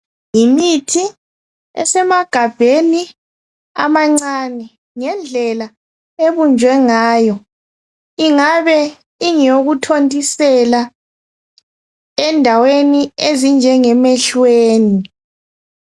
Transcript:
yimithi esemagabheni amancane ngendlela ebunjwe ngayo ingabe ingeyo kuthontisela endaweni ezinje ngemehlweni